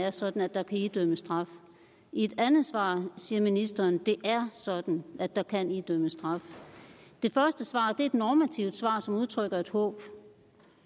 er sådan at der kan idømmes straf i et andet svar siger ministeren at det er sådan at der kan idømmes straf det første svar er et normativt svar som udtrykker et håb